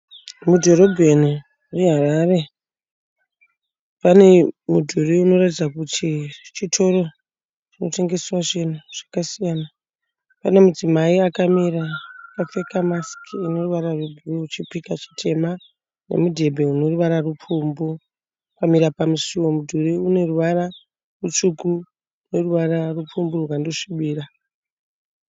Mudhorobheni reHarare. Pane mudhuri unoratidza kuti chitoro chinotengeswa zvinhu zvakasiyana. Pane mudzimai akamira akapfeka masiki ine ruvara rwebhuruu chipika chitema nemudhebhe une ruvara rupfumbu akamira pamusuo. Mudhuri une ruvara rutsvuku neruvara rupfumbu rwakandosvibira.